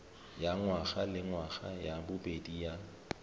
ya ngwagalengwaga ya bobedi ya